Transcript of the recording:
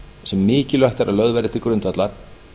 sem mikilvægt er að lögð verði til grundvallar